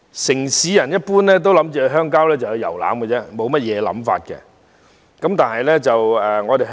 城市人一般僅視鄉郊為遊覽地方，沒有其他特別想法。